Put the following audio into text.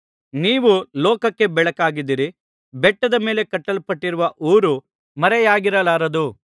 ನೀವು ಲೋಕಕ್ಕೆ ಬೆಳಕಾಗಿದ್ದೀರಿ ಬೆಟ್ಟದ ಮೇಲೆ ಕಟ್ಟಲ್ಪಟ್ಟಿರುವ ಊರು ಮರೆಯಾಗಿರಲಾರದು